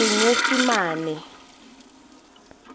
senyesimane